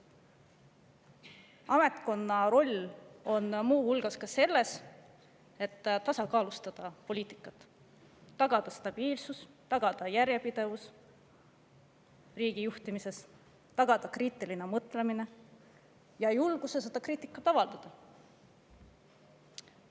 Ametkonna roll muu hulgas poliitika tasakaalustamises, et tagada stabiilsus, tagada järjepidevus riigi juhtimises, tagada kriitiline mõtlemine, ja julguses kriitikat avaldada.